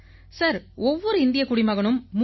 sir ஒவ்வொரு இந்தியக் குடிமகனும் மூன்று